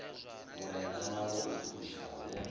mulaedza wa u phulusa wo